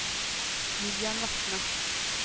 Vivian Vatne